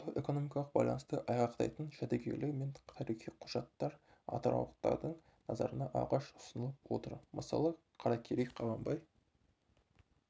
сауда-экономикалық байланысты айғақтайтын жәдігерлер мен тарихи құжаттар атыраулықтардың назарына алғаш ұсынылып отыр мысалы қаракерей қабанбай